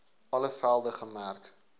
alle velde gemerk